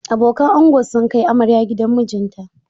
Abokan ango sun kai amarya gidan mijinta.